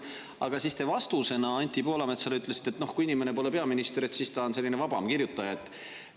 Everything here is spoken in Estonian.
Aga siis te vastusena Anti Poolametsale ütlesite, et kui inimene pole peaminister, siis ta on vabam kirjutaja.